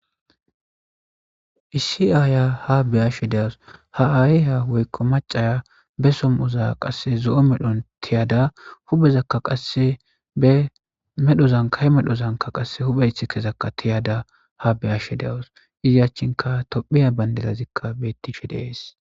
Issi Aya ha beyashe de'awus , ha ayiya woyko macaya be som'oza qase zo'o medhon tiyada huphezaka qase he medhozan huphe isikezaka tiyada ha beyashe dawus. Iz achanka tophiya Bandrazika betishe de'es.